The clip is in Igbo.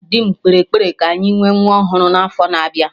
Dị m kpere ekpere ka anyị nwee nwa ọhụrụ na afo na-abịa